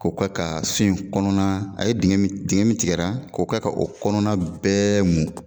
K'o ka ka so in kɔnɔna a ye dingɛ dingɛ min tigɛra k'o ka ka o kɔnɔna bɛɛ mun.